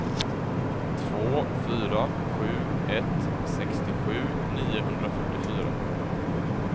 två fyra sju ett sextiosju niohundrafyrtiofyra